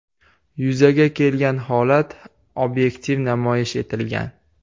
Yuzaga kelgan holat obyektiv namoyish etilgan.